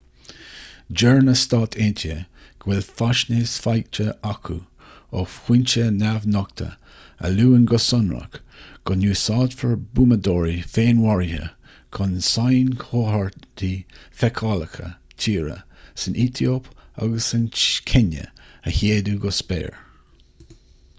deir na s.a. go bhfuil faisnéis faighte acu ó fhoinse neamhnochta a luann go sonrach go n-úsáidfear buamadóirí féinmharaithe chun sainchomharthaí feiceálacha tíre san aetóip agus sa chéinia a shéideadh go spéir